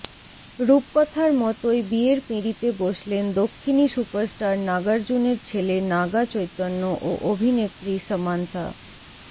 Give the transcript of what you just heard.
রূপকথার মতোই বিয়ের পিঁড়িতে বসলেন দক্ষিণী সুপারস্টার নাগার্জুনেরর ছেলে নাগা চৈতন্য ও অভিনেত্রী সামান্থা